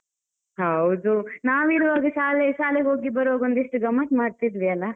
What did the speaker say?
ಹೌದು. ನಾವಿರ್ವಗ ಶಾಲೆ~ ಶಾಲೆಗ್ ಹೋಗಿ ಬರುವಾಗ ಒಂದಿಷ್ಟ ಗಮ್ಮತ್ ಮಾಡ್ತಿದ್ವಿ ಅಲ್ಲಾ?